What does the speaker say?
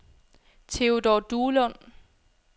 Theodor Duelund